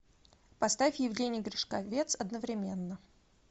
поставь евгений гришковец одновременно